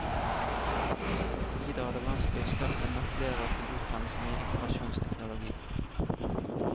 Videre er det vanskelig å skaffe nok lærere til utdannelsen i informasjonsteknologi.